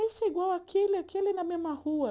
Esse é igual àquele, aquele é na mesma rua.